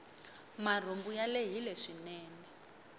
marhumbu ya lehile swinene